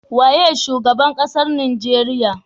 Waye shugaban ƙasar nigeria?